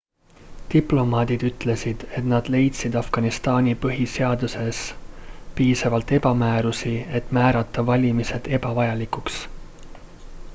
diplomaadid ütlesid et nad leidsid afganistani põhiseaduses piisavalt ebamäärasusi et määrata valimised ebavajalikuks